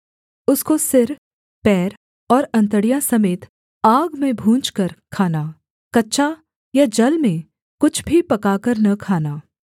उसको सिर पैर और अंतड़ियाँ समेत आग में भूनकर खाना कच्चा या जल में कुछ भी पकाकर न खाना